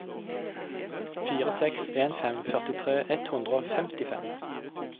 fire seks en fem førtitre ett hundre og femtifem